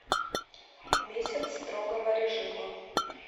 месяц строгого режима